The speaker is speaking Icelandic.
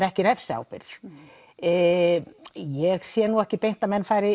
ekki refsiábyrgð ég sé ekki beint að menn fari